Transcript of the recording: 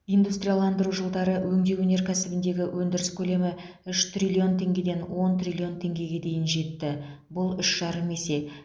индустрияландыру жылдары өңдеу өнеркәсібіндегі өндіріс көлемі үш триллион теңгеден он триллион теңгеге дейін жетті бұл үш жарым есе